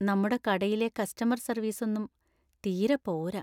നമ്മുടെ കടയിലെ കസ്റ്റമർ സർവീസൊന്നും തീരെ പോരാ.